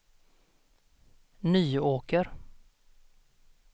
Nyåker